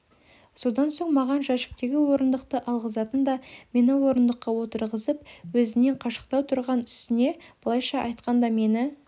содан соң маған жәшіктегі орындықты алғызатын да мені орындыққа отырғызып өзінен қашықтау тұрған үстіне былайша айтқанда мені